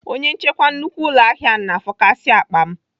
Onye nchekwa nnukwu ụlọahịa ahụ na-afọkasị akpa m.